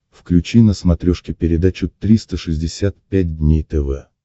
включи на смотрешке передачу триста шестьдесят пять дней тв